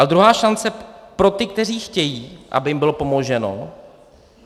A druhá šance pro ty, kteří chtějí, aby jim bylo pomoženo.